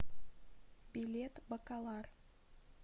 билет бакалар